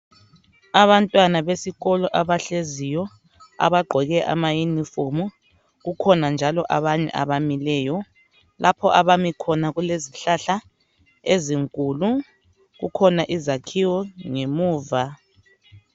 Abantwana besikolo abahleziyo abagqoke ama yunifomu kukhona njalo abanye abamileyo lapho abami khona kulezihlahla ezinkulu kukhona izakhiwo ngemuva.